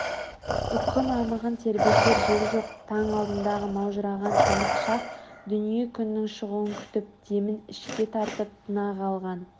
Үкі мамығын тербетер жел жоқ таң алдындағы маужыраған тымық шақ дүние күннің шығуын күтіп демін ішке тартып тына қалған